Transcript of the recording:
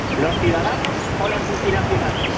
¿Los ciudadanos o las multinacionales?